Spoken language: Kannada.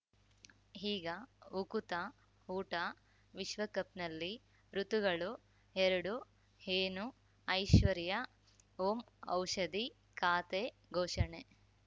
ಈಗ ಉಕುತ ಊಟ ವಿಶ್ವಕಪ್‌ನಲ್ಲಿ ಋತುಗಳು ಎರಡು ಏನು ಐಶ್ವರ್ಯಾ ಓಂ ಔಷಧಿ ಖಾತೆ ಘೋಷಣೆ